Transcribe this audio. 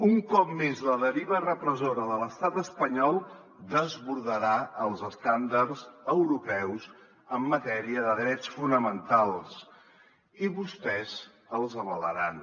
un cop més la deriva repressora de l’estat espanyol desbordarà els estàndards europeus en matèria de drets fonamentals i vostès els avalaran